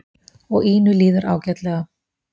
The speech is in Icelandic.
Og Ínu líður ágætlega.